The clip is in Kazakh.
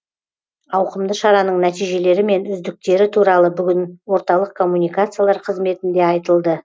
ауқымды шараның нәтижелері мен үздіктері туралы бүгін орталық коммуникациялар қызметінде айтылды